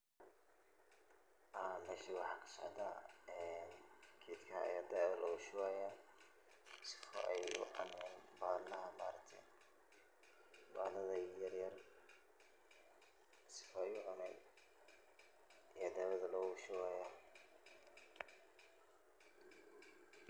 Ha , mesha waxaa kasocdaah ee geda aa dawo lugushubaya si ay sifican ubaxan. Si fican ayaa dawada logushubaah , markas weybixi.